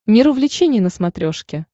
мир увлечений на смотрешке